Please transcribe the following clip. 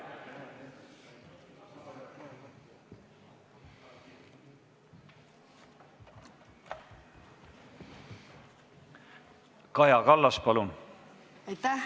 Kaja Kallas, palun!